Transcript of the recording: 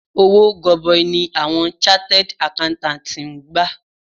Owó gọbọi ni awọn chartered Accountants ń gbà.